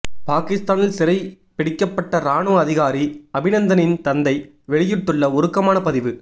பாகிஸ்தானில் சிறை பிடிக்கப்பட்ட ராணுவ அதிகாரி அபிநந்தனின் தந்தை வெளியிட்டுள்ள உருக்கமான பதிவு